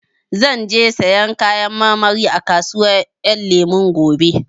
Zan je sayan Kayan marmari a kasuwar Ƴan Lemu gobe